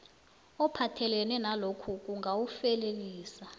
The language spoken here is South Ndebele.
ophathelene nalokhu kungawufelelisa